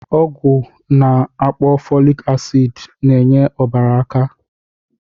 Ọgwụ a na-akpọ fọlik asịd n'enye ọbara aka.